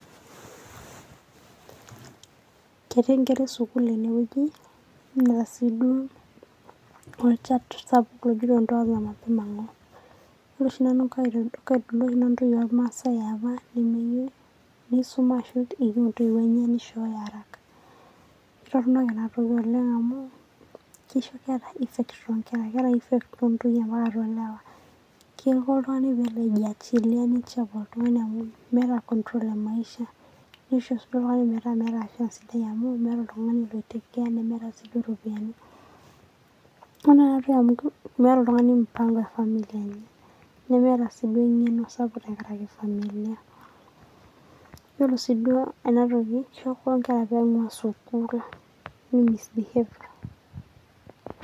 Ketii Enkera esukuul ene wueji naa sii duo olchata sapuk oigero Ndoa za Mapema, Non governmental organization Ore oshi Nanu intoyie ormasae aapa nemeyieu neisuma ashu eyieu entoiwuo enye neishooyo araka, ketorronok ena toki oleng' amu kesho Enkera effects oleng'',keeta effects Oleng' too Nkera amu Keiko oltung'ani pee elo aijiachilia neichapa oltung'ani amu meeta control emaisha, neisho sii oltung'ani metaa meeta Maisha sidai amu meeta oltung'ani oitake care nemeeta sii duo iropiyiani. Ketorronok naaduo amu meeta oltung'ani mpang'o efamili enye, neemeta sii duo eng'eno SAPUK tengaraki familia. Yielo sii duo ena toki keisho nimisbehave.